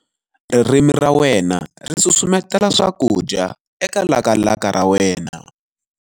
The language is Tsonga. Ririmi ra wena ri susumetela swakudya eka lakalaka ra wena.